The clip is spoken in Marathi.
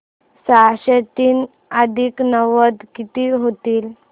सहाशे तीन अधिक नव्वद किती होतील